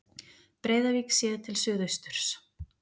Breiðavík séð til suðausturs.